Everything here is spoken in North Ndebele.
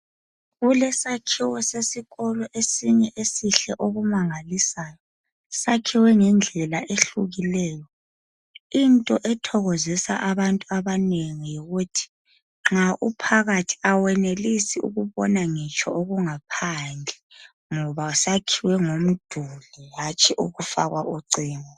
Kulesakhiwo sesikolo esinye esihle okumangalisayo. Sakhiwe ngendlela ehlukileyo. Into ethokozisa abantu abanengi yikuthi nxa uphakathi awenelisi ukubona ngitsho okungaphandle ngoba sakhiwe ngomduli hatshi ukufakwa ucingo.